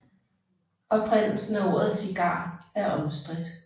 Oprindelsen af ordet cigar er omstridt